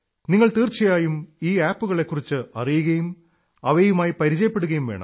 നിങ്ങൾ തീർച്ചയായും ഈ ആപ് കളെക്കുറിച്ച് അിറയുകയും അവയുമായി പരിചപ്പെടുകയും വേണം